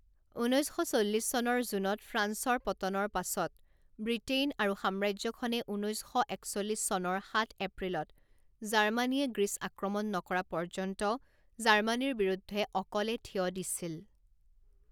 ঊনৈছ শ চল্লিছ চনৰ জুনত ফ্ৰান্সৰ পতনৰ পাছত, ব্ৰিটেইন আৰু সাম্ৰাজ্যখনে ঊনৈছ শ একচল্লিছ চনৰ সাত এপ্ৰিলত জাৰ্মানীয়ে গ্ৰীচ আক্ৰমণ নকৰা পৰ্যন্ত জাৰ্মানীৰ বিৰুদ্ধে অকলে থিয় দিছিল।